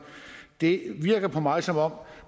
det virker på mig som om